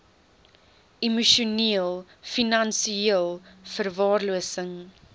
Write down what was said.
emosioneel finansieel verwaarlosing